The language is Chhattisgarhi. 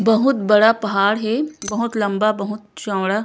बहुत बड़ा पहाड़ हे बहुत लम्बा बहुत चौड़ा--